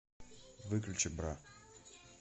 выключи бра